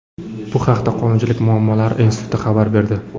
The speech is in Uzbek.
Bu haqda Qonunchilik muammolari instituti xabar berdi.